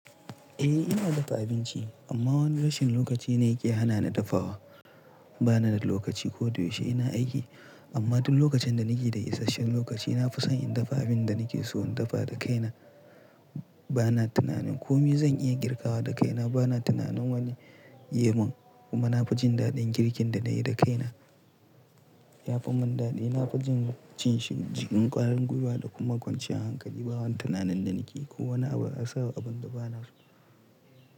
Eh ina dafa abinci amma wani rashin lokaci na yake hana ni dafawa. Bana da lokaci ko da yaushe ina aiki amma duk lokacin da nake da isasshen lokaci na fi son in dafa abin da nake so in dafa da kaina. Bana tunanin komi zan iya girkawa da kaina. Bana tunanin wani ye mun kuma na fi jin daɗin girkin da na yi da kaina yafi mun daɗi. Na fi jin cin shi cikin ƙwarin gwiwa da kuma kwanciyar hankali. Ba wani tunanin da nake ko wani abu a sawa abun da bana so.